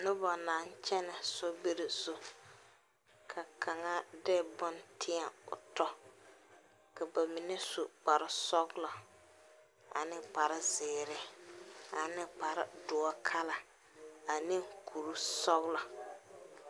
Noba naŋ kyɛnɛ sobiri zu ka kaŋa de bonne teɛ o tɔ ka ba mine su kparesɔglɔ ane kparezeere ane kpareoɔ kala ane kurisɔglɔ.